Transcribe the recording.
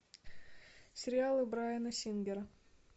сериалы брайана сингера